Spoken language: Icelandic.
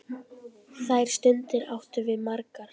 Þær stundir áttum við margar.